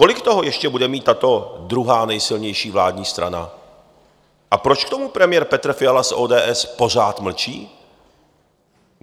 Kolik toho ještě bude mít tato druhá nejsilnější vládní strana a proč k tomu premiér Petr Fiala z ODS pořád mlčí?